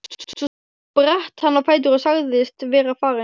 Svo spratt hann á fætur og sagðist vera farinn.